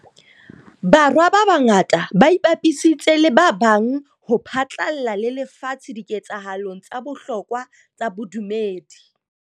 Borwa a mangata a ipapisitse le ba bang ho phatlalla le lefatshe dike tsahalong tsa bohlokwa tsa bodumedi.